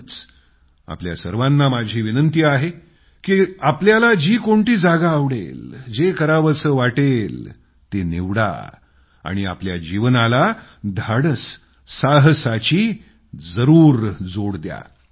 म्हणूनच आपल्या सर्वांना माझा आग्रह आहे की आपल्याला जी कोणती जागा आवडेल जे करावसं वाटेल ते निवडा आणि आपल्या जीवनाला धाडस साहसाची जरूर जोड द्या